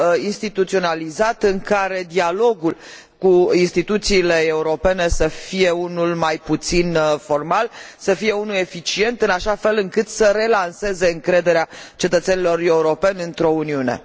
instituționalizat, în care dialogul cu instituțiile europene să fie unul mai puțin formal, să fie unul eficient, în așa fel încât să relanseze încrederea cetățenilor europeni într o Uniune.